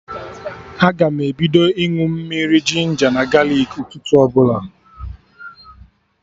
Aga m ebido ịñụ mmiri ginja na galik ụtụtụ ọbụla